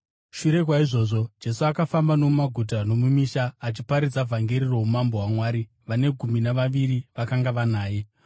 Shure kwaizvozvo, Jesu akafamba nomumaguta nomumisha, achiparidza vhangeri roumambo hwaMwari. Vane gumi navaviri vakanga vanaye,